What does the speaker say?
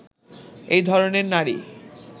এই ধরনের নারী